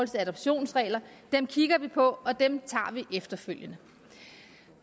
til adoptionsreglerne kigger vi på og dem tager vi efterfølgende